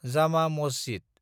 जामा मसजिद